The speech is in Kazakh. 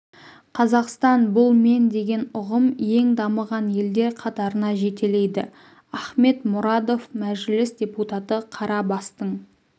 қазақстан бұл мен деген ұғым ең дамыған елдер қатарына жетелейді ахмед мұрадов мәжіліс депутаты қара бастың